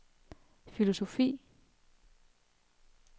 filosofi